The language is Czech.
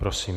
Prosím.